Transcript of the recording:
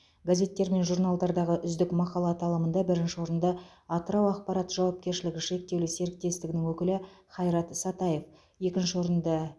газеттер мен журналдардағы үздік мақала аталымында бірінші орынды атырау ақпарат жауапкершілігі шектеулі серіктестігінің өкілі хайрат сатаев екінші орынды